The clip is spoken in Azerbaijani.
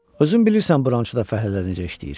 Özün bilirsən burda fəhlələr necə işləyir.